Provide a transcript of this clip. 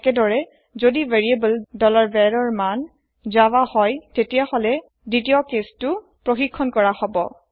একেদৰে যদি variable var ৰ মান জাভা হয় তেতিয়া হলে দ্বিতীয় কেছ তু ছেক হব